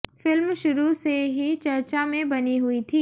film शुरू से ही चर्चा में बनी हुई थी